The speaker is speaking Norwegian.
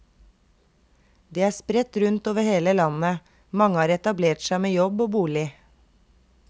De er spredt rundt over hele landet, mange har etablert seg med jobb og bolig.